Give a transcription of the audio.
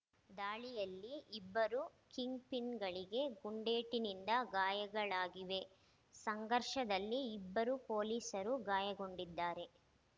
ದಾಳಿಯಲ್ಲಿ ಇಬ್ಬರು ಕಿಂಗ್‌ಪಿನ್‌ಗಳಿಗೆ ಗುಂಡೇಟಿನಿಂದ ಗಾಯಗಳಾಗಿವೆ ಸಂಘರ್ಷದಲ್ಲಿ ಇಬ್ಬರು ಪೊಲೀಸರೂ ಗಾಯಗೊಂಡಿದ್ದಾರೆ